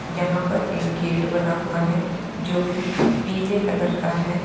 यहां पर एक गेट बना हुआ है जो की पीले कलर का है।